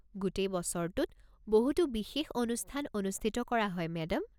গোটেই বছৰটোত বহুতো বিশেষ অনুষ্ঠান অনুষ্ঠিত কৰা হয় মেডাম।